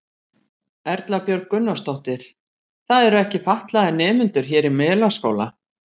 Erla Björg Gunnarsdóttir: Það eru ekki fatlaðir nemendur hér í Melaskóla?